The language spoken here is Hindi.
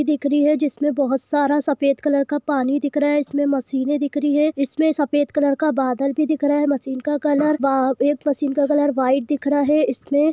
दिख रही है जिस में बहुत सारा सफेद कलर का पानी दिख रहा है इसमें मशीने दिख रही है इसमें सफेद कलर का बादल भी दिख रहा है मशीन का कलर वाइट दिख रहा है इसमें--